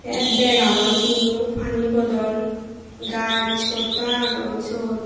ay bag agon tinno paani bodol gaj hotta agon sot.